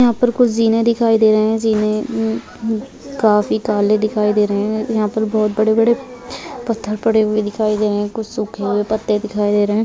यहाँ पर कुछ जीने दिखाई दे रहे जीने म अ काफी काले दिखाई दे रहे है यहाँ पर बहुत बड़े -बड़े पत्थर पड़े हुए दिखाई दे रहे है कुछ सुखे हुये पत्ते दिखाई दे रहे हैं।